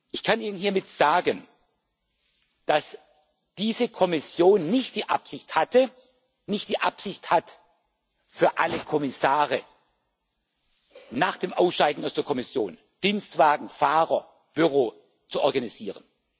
Ich kann ihnen hiermit sagen, dass diese Kommission nicht die Absicht hatte und nicht die Absicht hat, für alle Kommissare nach dem Ausscheiden aus der Kommission Dienstwagen, Fahrer, Büros zu organisieren.